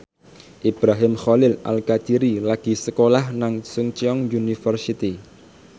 Ibrahim Khalil Alkatiri lagi sekolah nang Chungceong University